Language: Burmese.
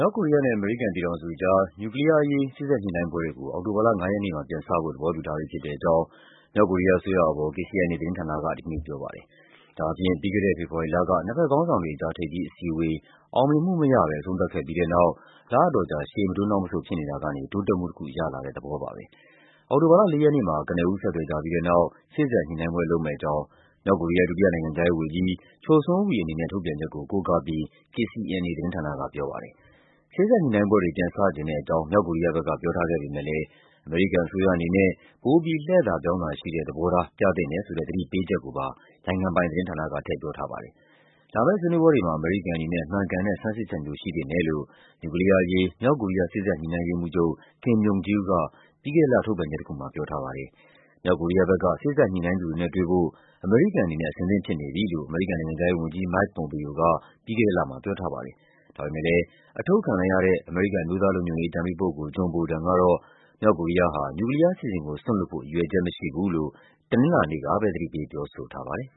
ောက်ကိုရီးယားနဲ့ အမေရိကန်ပြည်ထောင်စုကြား နျူကလီးယားအရေး စေ့စပ်ညှိနှိုင်းပွဲတွေကို အောက်တိုဘာလ ၅ ရက်နေ့မှာ ပြန်စဖို့ သဘောတူထားပြီးဖြစ်တဲ့အကြောင်း မြောက်ကိုရီးယားအစိုးရအာဘော် KCNA သတင်းဌာနက ဒီကနေ့ပြောပါတယ်။ ဒါဟာဖြင့် ပြီးခဲ့တဲ့ ဖေဖော်ဝါရီလက နှစ်ဘက်ခေါင်းဆောင်တွေကြား ထိပ်သီးအစည်းအဝေး အောင်မြင်မှုမရဘဲ အဆုံးသတ်ခဲ့ပြီး တဲ့နောက် လအတော်ကြာ ရှေ့မတိုးနောက်မဆုတ်ဖြစ်နေတာကနေ တိုးတက်မှုတခု ရလာတဲ့သဘောပါပဲ။ အောက်တိုဘာလ ၄ ရက်နေ့မှာ ကနဦး ဆက်သွယ်ကြပြီးတဲ့နောက် စေ့စပ် ညှိနှိုင်းပွဲလုပ်မယ့် အကြောင်း မြောက်ကိုရီးယား ဒုတိယနိုင်ငံခြားရေးဝန်ကြီး Choe Son Hui အနေနဲ့ ထုတ်ပြန်ချက်ကို ကိုးကားပြီး KCNA သတင်းဌာနက ပြောပါတယ်။ စေ့စပ်ညှိနှိုင်းပွဲတွေ ပြန်စချင်တဲ့အကြောင်း မြောက်ကိုရီးယားဘက်က ပြောထားခဲ့ပေမယ့်လည်း အမေရိကန်အစိုးရအနေနဲ့ ပိုပြီး လှည့်သာပြောင်းသာရှိတဲ့ သဘောထား ပြသင့်တယ်ဆိုတဲ့ သတိပေးချက်ကိုပါ နိုင်ငံပိုင်သတင်းဌာနက ထည့်ပြောထားပါတယ်။ လာမယ့်ဆွေးနွေးပွဲတွေမှာ အမေရိကန်အနေနဲ့ မှန်ကန်တဲ့ ဆန်းစစ်ချက်မျိုး ရှိသင့်တယ်လို့ နျူကလီးယားအရေး မြောက်ကိုရီးယား စေ့စပ်ညှိနှိုင်းရေးမှူးချုပ် Kim Myong Gil က ပြီးခဲ့တဲ့လ ထုတ်ပြန်ချက်တခုမှာ ပြောထားပါတယ်။ မြောက်ကိုရီးယားဘက်က စေ့စပ်ညှိနှိုင်းသူတွေနဲ့တွေ့ဖို့ အမေရိကန်အနေနဲ့ အဆင်သင့်ဖြစ်နေပြီလို့ အမေရိကန်နိုင်ငံခြားရေး ဝန်ကြီး Mike Pompeo က ပြီးခဲ့တဲ့လမှာ ပြောထားပါတယ်။ ဒါပေမယ့် အထုတ်ခံလိုက်ရတဲ့ အမေရိကန် အမျိုးသားလုံခြုံရေးအကြံပေးပုဂ္ဂိုလ် John Bolton ကတော့ မြောက်ကိုရီးယားဟာ နျူကလီးယားအစီအစဉ်ကို စွန့်လွှတ်ဖို့ ရည်ရွယ်ချက်မရှိဘူးလို့ တနင်္လာနေ့ကပဲ သတိပေးပြောဆိုထားပါတယ်